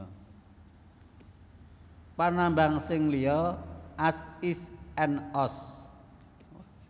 Panambang sing liya az is and oz